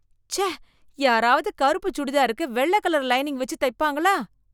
ச்சே, யாரவது கருப்பு சுடிதாருக்கு வெள்ளை கலர் லைனிங் வெச்சு தைப்பாங்களா?